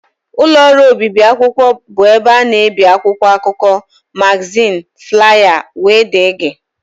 Ụlọ ọrụ obibi akwụkwọ bụ ebe a na-ebi akwụkwọ akụkọ, magazin, flaya wdg